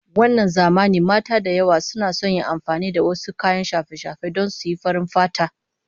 Wannan zamanin mata da yawa suna son yin amfani da wasu kayan shafe-shafe don suyi farin fata